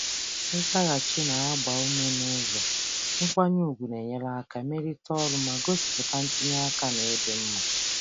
Ịkwalite nzaghachi n’ụzọ nkwanye ùgwù na-enyere aka mee ka ozi dị mma ma gosipụta ntinye aka na ịdị mma.